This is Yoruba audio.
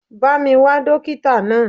Bá mi wá dókítà náà.